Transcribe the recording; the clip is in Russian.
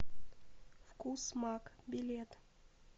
вкус маг билет